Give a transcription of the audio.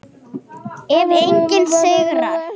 Ef enginn sigrar.